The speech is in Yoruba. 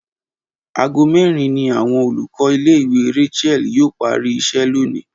Aago mé̩rin ni àwo̩n olùkó̩ ilé ìwé Rachael yóò parí is̩é̩ lónìí